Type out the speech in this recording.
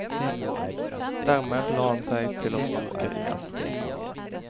Dermed la han seg til å snorke igjen.